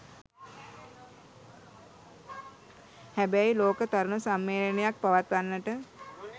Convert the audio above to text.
හැබැයි ලෝක තරුණ සම්මේලනයක් පවත්වන්නට